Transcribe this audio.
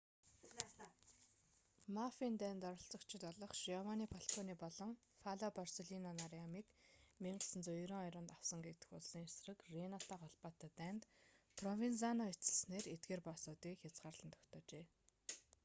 мафийн дайнд оролцогчид болох жиованни фалконе болон пало борселлино нарын амийг 1992 онд авсан гэгдэх улсын эсрэг рийнатай холбоотой дайнд провензано эцэслэснээр эдгээр боссуудыг хязгаарлан тогтоожээ